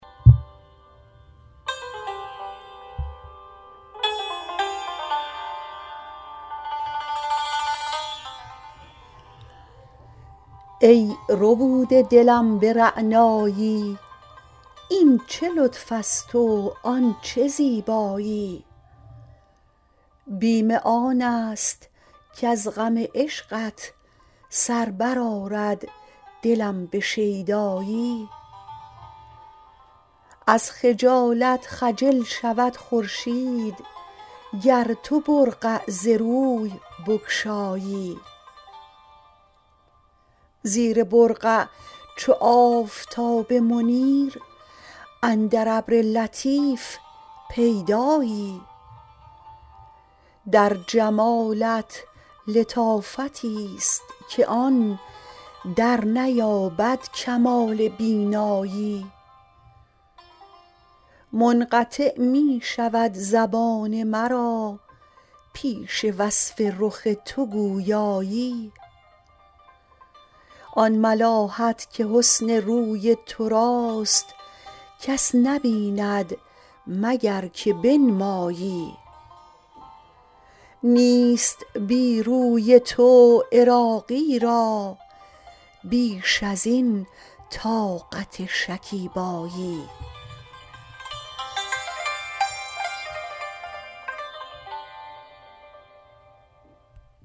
ای ربوده دلم به رعنایی این چه لطف است و آن چه زیبایی بیم آن است کز غم عشقت سر بر آرد دلم به شیدایی از خجالت خجل شود خورشید گر تو برقع ز روی بگشایی زیر برقع چو آفتاب منیر اندر ابر لطیف پیدایی در جمالت لطافتی است که آن در نیابد کمال بینایی منقطع می شود زبان مرا پیش وصف رخ تو گویایی آن ملاحت که حسن روی توراست کس نبیند مگر که بنمایی نیست بی روی تو عراقی را بیش ازین طاقت شکیبایی